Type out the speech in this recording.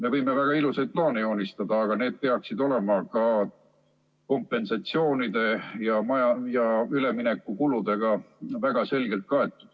Me võime väga ilusaid plaane joonistada, aga need peaksid olema ka kompensatsioonide ja üleminekukuludega väga selgelt kaetud.